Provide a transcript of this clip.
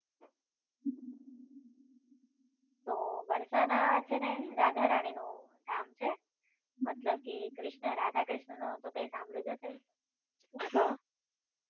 તો બર્શાના છે ને રાધા રાણી નું ધામ છે મતલબ કે કૃષ્ણ રાધા કૃષ્ણ નું તો કઈ સાંભળ્યું જ હશે